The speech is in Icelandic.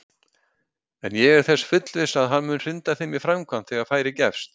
En ég er þess fullviss að hann mun hrinda þeim í framkvæmd þegar færi gefst!